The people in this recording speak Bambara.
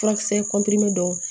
Furakisɛ don